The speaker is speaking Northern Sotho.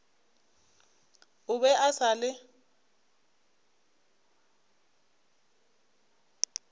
o be a sa le